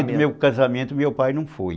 meu casamento, meu pai não foi.